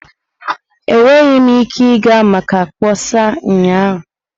Enweghị m ike ịga maka mkpọsa ụnyaahụ.